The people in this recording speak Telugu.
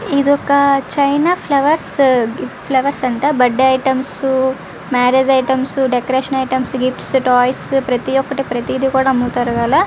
ఇదొక చైనా ఫ్లవర్స్ ఫ్లవర్స్ అంట birthday items marriage items decoration items gifts toys ప్రతి ఒక్కటి ప్రతిది కూడా అమ్ముతారు.